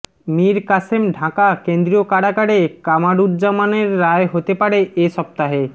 মীর কাসেম ঢাকা কেন্দ্রীয় কারাগারে কামারুজ্জামানের রায় হতে পারে এ সপ্তাহে